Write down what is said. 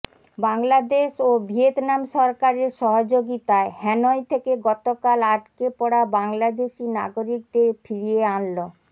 বাংলাদেশ ও ভিয়েতনাম সরকারের সহযোগিতায় হ্যানয় থেকে গতকাল আটকে পড়া বাংলাদেশি নাগরিকদের ফিরিয়ে আনল